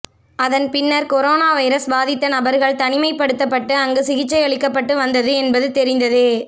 அதன் பின்னர் corona virus பாதித்த நபர்கள் தனிமைப்படுத்தப்பட்டு அங்கு சிகிச்சை அளிக்கப்பட்டு வந்தது என்பது தெரிந்ததே